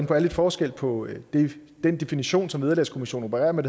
på er lidt forskel på den definition som vederlagskommissionen opererer med